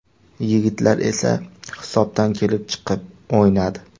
Yigitlar esa hisobdan kelib chiqib o‘ynadi.